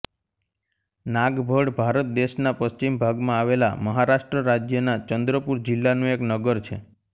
નાગભડ ભારત દેશના પશ્ચિમ ભાગમાં આવેલા મહારાષ્ટ્ર રાજ્યના ચંદ્રપૂર જિલ્લાનું એક નગર છે